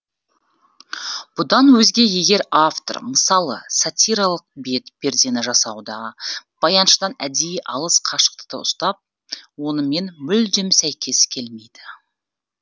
бұдан өзге егер автор мысалы сатиралық бет пердені жасауда баяншыдан әдейі алыс қашықтықты ұстап онымен мүлдем сәйкес келмейді